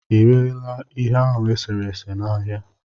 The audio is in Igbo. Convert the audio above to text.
ịrela ihe ahụ eserese na ahịa?